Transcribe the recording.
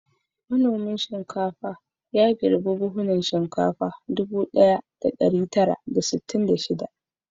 Manomin shinkafa ya girbi buhunan shinkafa ɗubu ɗaya da ɗari tara da sittin da shida.